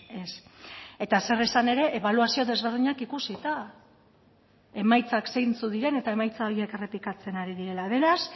ez eta zer esan ere ebaluazio desberdinak ikusita emaitzak zeintzuk diren eta emaitza horiek errepikatzen ari direla beraz